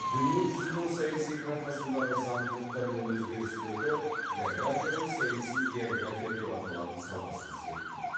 дүние жүзінің саяси картасындағы заңдылықтар мен өзгерістерді географияның саяси география деп аталатын саласы зерттейді